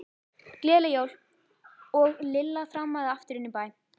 Gleðileg jól. og Lilla þrammaði aftur inn í bæ.